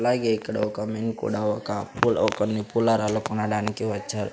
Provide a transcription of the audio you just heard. అలాగే ఇక్కడ ఒక మెన్ కూడా ఒక అప్పుల అ కొన్ని పూలారాలు కొనడానికి వచ్చారు.